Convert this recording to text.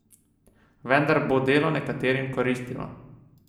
Vendar bo delo nekaterim koristilo.